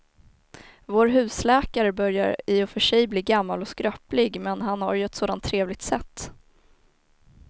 Vår husläkare börjar i och för sig bli gammal och skröplig, men han har ju ett sådant trevligt sätt!